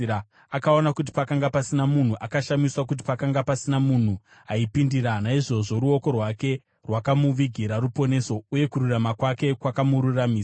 Akaona kuti pakanga pasina munhu, akashamiswa kuti pakanga pasina munhu aipindira; naizvozvo ruoko rwake rwakamuvigira ruponeso, uye kururama kwake kwakamuraramisa.